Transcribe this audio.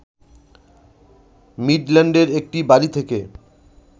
মিডল্যান্ডের একটি বাড়ী থেকে